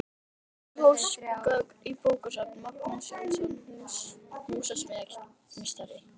Hillur og húsgögn í bókasafn: Magnús Jónsson, húsasmíðameistari.